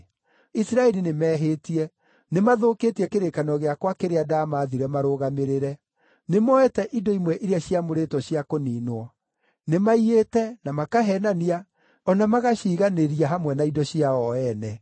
Isiraeli nĩmehĩtie; nĩmathũkĩtie kĩrĩkanĩro gĩakwa kĩrĩa ndamaathire marũmagĩrĩre. Nĩmoete indo imwe iria ciamũrĩtwo cia kũniinwo; nĩmaiyĩte, na makaheenania, o na magaciiganĩria hamwe na indo ciao o ene.